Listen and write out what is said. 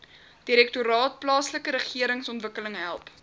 direktoraat plaaslikeregeringsontwikkeling help